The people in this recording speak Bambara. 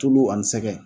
Tulu ani sɛgɛn